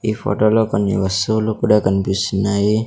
ఈ ఫోటో లో కొన్ని వస్తువులు కూడా కన్పిస్తున్నాయి.